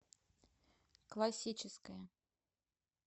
классическая